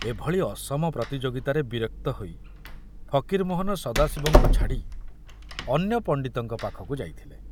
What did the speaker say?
ଏଭଳି ଅସମ ପ୍ରତିଯୋଗିତାରେ ବିରକ୍ତ ହୋଇ ଫକୀରମୋହନ ସଦାଶିବଙ୍କୁ ଛାଡ଼ି ଅନ୍ୟ ପଣ୍ଡିତଙ୍କ ପାଖକୁ ଯାଇଥିଲେ।